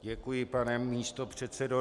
Děkuji, pane místopředsedo.